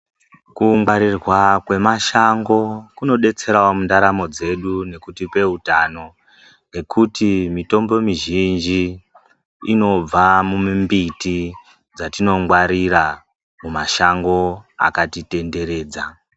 Kungwarirwa kwemashango kunodetserawo mundaramo dzedu nekutipa hutano ngekuti mitombo mizhinji inobva mumbiti dzatinongwarira mumashango akatitenderedza.